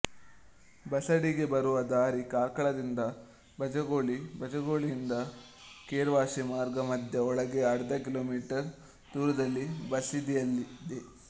ಬಸದಿಗೆ ಬರುವ ದಾರಿ ಕಾರ್ಕಳದಿಂದ ಬಜಗೋಳಿ ಬಜಗೋಳಿಯಿಂದ ಕೆರ್ವಾಶೆ ಮಾರ್ಗ ಮಧ್ಯೆ ಒಳಗೆ ಅರ್ಧ ಕಿ ಮೀ ದೂರದಲ್ಲಿ ಬಸದಿಯಿದೆ